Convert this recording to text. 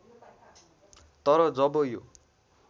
तर जब यो